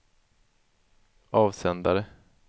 avsändare